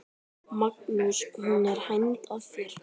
Magnús: Hún er hænd að þér?